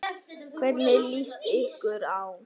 Hvernig líst ykkur á?